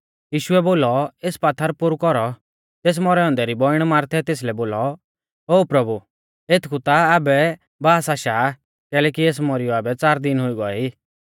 यीशुऐ बोलौ एस पात्थर पोरु कौरौ तेस मौरै औन्दै री बौइण मार्थै तेसलै बोलौ ओ प्रभु एथकु ता आबै बास आशा आ कैलैकि एस मारीयौ आबै च़ार दिन हुई गौऐ ई